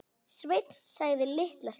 Sveinn þagði litla stund.